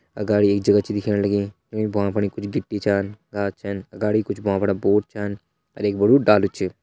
अगाड़ी एक जगह छ दिखेण लगीं ईं भ्वां फणि कुछ गिटी छन घास छन अगाड़ी कुछ भ्वां फणा बोर्ड छन अर एक बड़ु डालू छ।